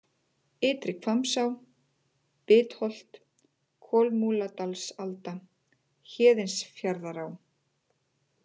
Ytri-Hvammsá, Bitholt, Kolmúladalsalda, Héðinsfjarðará